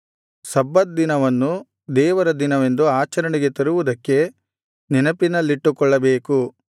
ಸಬ್ಬತ್ ದಿನವನ್ನು ದೇವರ ದಿನವೆಂದು ಆಚರಣೆಗೆ ತರುವುದಕ್ಕೆ ನೆನಪಿನಲ್ಲಿಟ್ಟುಕೊಳ್ಳಬೇಕು